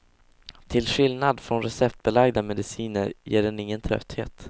Till skillnad från receptbelagda mediciner ger den ingen trötthet.